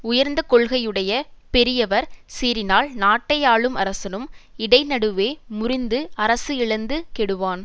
உயர்ந்த கொள்கையுடைய பெரியவர் சீறினால் நாட்டை ஆளும் அரசனும் இடை நடுவே முறிந்து அரசு இழந்து கெடுவான்